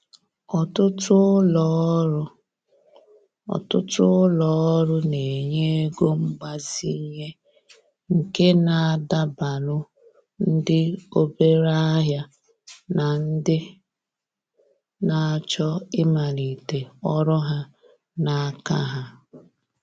Ọtụtụ ulo ọrụ Ọtụtụ ulo ọrụ na-enye ego mgbazinye nke na adabalu ndị obere ahịa na ndị na-achọ ịmalite ọrụ ha n’aka ha.